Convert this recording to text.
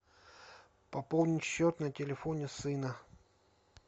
пополнить счет на телефоне сына